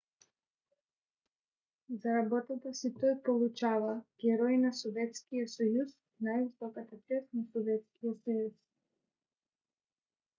за работата си той получава герой на съветския съюз най-високата чест на съветския съюз